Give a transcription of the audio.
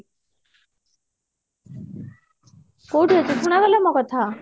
କୋଉଠି ଅଛ ଶୁଣାଗଲା ମୋ କଥା